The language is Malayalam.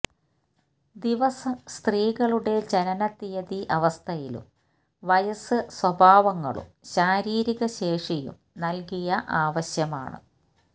ദിവസം സ്ത്രീകളുടെ ജനനത്തീയതി അവസ്ഥയിലും വയസ്സ് സ്വഭാവങ്ങളും ശാരീരിക ശേഷിയും നൽകിയ ആവശ്യമാണ്